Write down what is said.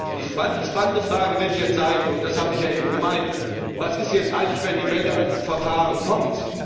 Die spannende Frage wird jetzt sein, und das habe ich ja eben gemeint Was ist jetzt eigentlich, wenn die Welle an Verfahren kommt?